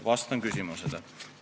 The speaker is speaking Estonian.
Vastan küsimusele.